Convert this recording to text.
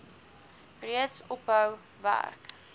reeds ophou werk